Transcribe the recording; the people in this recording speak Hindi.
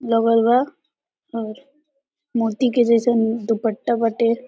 लगल बा और मोती के जइसन दुपट्टा बटे।